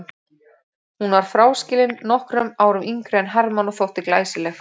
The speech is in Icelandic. Hún var fráskilin, nokkrum árum yngri en Hermann og þótti glæsileg.